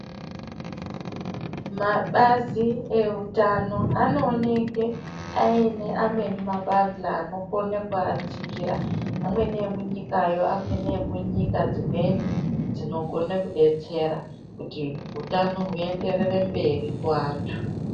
Mabazi eutano anooneke aine amweni mabandla anokone kuajigera amweni emunyikayo amweni emunyika dzimweni dzinokone kubatsira kuti utano huenderere mberi kuvanthu.